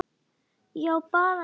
Ég á bara lítið.